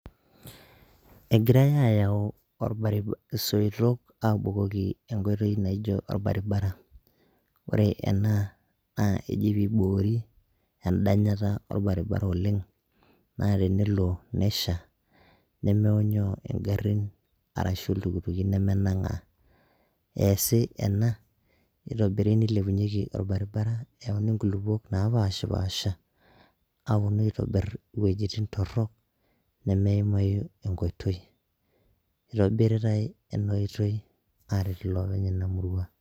Egirai ayau olbari isoitok aabukoki olbaribara, ore ena naa keji piibori endanyata olbaribara oleng' naa tenelo nesha, nmeonyoo ingarrin arasgu iltukutuki nemenang'aa, eesi ena nitobiri nilepunyeki olbaribara eyauni ilkulukuok naapashipaasha, aponu aitobir iwojitin torrok, nemeimayu enkoitoi, itobiritai ena oitoi aaret iloopeny ena murua